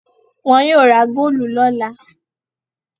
Wọn yóò ra góólù lọ́la.